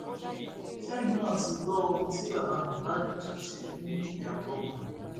ṣẹyìn náà ti gbọ ohun tí bàbá mohbad tún ṣe fún ìyàwó ọmọ rẹ